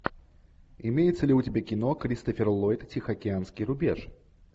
имеется ли у тебя кино кристофер ллойд тихоокеанский рубеж